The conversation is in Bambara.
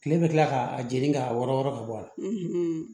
Kile bɛ kila k'a jeni k'a wɔɔrɔn ka bɔ a la